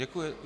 Děkuji.